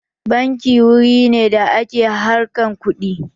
Banki wuri ne da ake harkan kuɗi